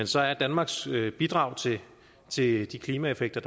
så er danmarks bidrag til til de klimaeffekter